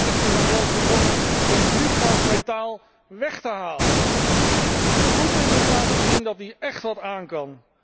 Deze laatsten zijn zelfs begonnen om vliegtuigmetaal weg te halen! Putin moet laten zien dat hij écht wat aankan.